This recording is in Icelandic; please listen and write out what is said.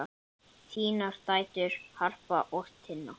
Þínar dætur, Harpa og Tinna.